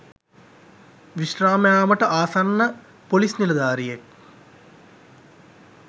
විශ්‍රාම යාමට ආසන්න පොලිස් නිලධාරියෙක්